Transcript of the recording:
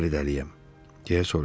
Nə vaxtdan bəri dəliyəm?